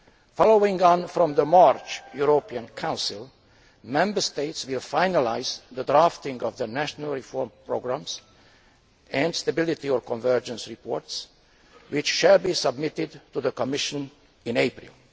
Following on from the March European Council, Member States will finalise the drafting of the national reform programmes and stability or convergence reports, which will be submitted to the Commission in April.